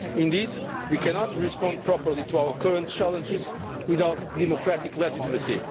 Indeed, we cannot respond properly to our current challenges without democratic legitimacy.